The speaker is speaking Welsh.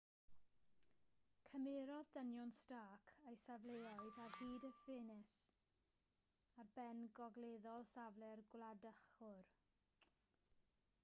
cymerodd dynion stark eu safleoedd ar hyd y ffens ar ben gogleddol safle'r gwladychwr